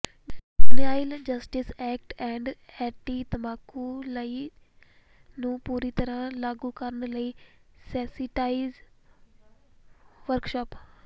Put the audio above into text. juvenile justice act and anti ਤੰਬਾਕੂ law ਨੂੰ ਪੂਰੀ ਤਰ੍ਹਾਂ ਲਾਗੂ ਕਰਨ ਲਈ ਸੈਂਸੀਟਾਈਜ਼ ਵਰਕਸ਼ਾਪ